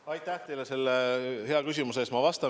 Aitäh teile selle hea küsimuse eest!